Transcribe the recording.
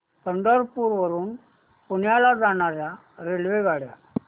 पंढरपूर वरून पुण्याला जाणार्या रेल्वेगाड्या